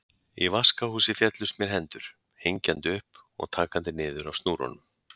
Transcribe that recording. Í vaskahúsi féllust mér hendur, hengjandi upp og takandi niður af snúrunum.